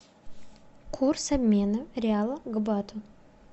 курс обмена реала к бату